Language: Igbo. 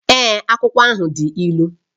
Èé, akwụkwọ ahụ dị ilu